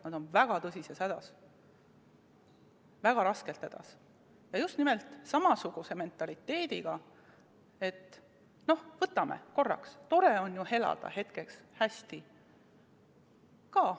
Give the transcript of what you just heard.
Nad on väga tõsises hädas, väga raskelt hädas ja nad on just nimelt samasuguse mentaliteediga, et noh, võtame korraks, tore on elada hetkeks hästi.